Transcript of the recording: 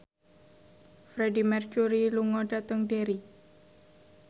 Freedie Mercury lunga dhateng Derry